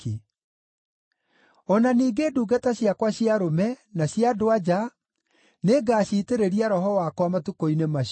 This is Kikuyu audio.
O na ningĩ ndungata ciakwa cia arũme, na cia andũ-a-nja, nĩngaciitĩrĩria Roho wakwa matukũ-inĩ macio.